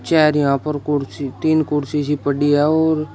chair यहां पर कुर्सी तीन कुर्सी सी पड़ी है और--